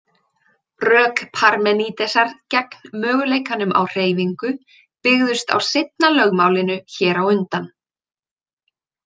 Rök Parmenídesar gegn möguleikanum á hreyfingu byggðust á seinna lögmálinu hér á undan.